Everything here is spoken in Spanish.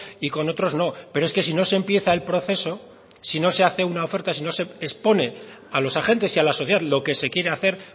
y con otros no pero es que si no se empieza el proceso si no se hace una oferta si no se expone a los agentes y a la sociedad lo que se quiere hacer